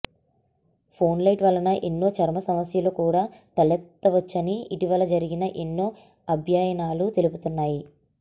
phone light వలన ఎన్నో చర్మ సమస్యలు కూడా తలెత్తవచ్చని ఇటీవల జరిగిన ఎన్నో అధ్యయనాలు తెలుపుతున్నాయి